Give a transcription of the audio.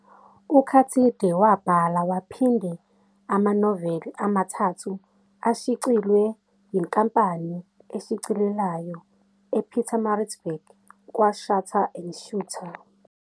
UKathide wabhala waphinde amanoveli amathathu ashcilws yinkampnai eshicilelayo ePietermaritzburg kwa-Shuter and Shooter.